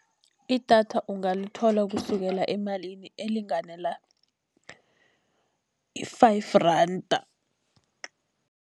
Idatha ungalithola kusukela emalini elingana i-five randa.